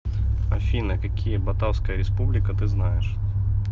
афина какие батавская республика ты знаешь